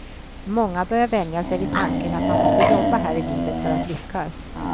Många börjar vänja sig vid tanken att man måste jobba här i livet för att lyckas.